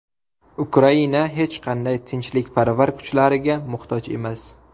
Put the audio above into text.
Ukraina hech qanday tinchlikparvar kuchlariga muhtoj emas.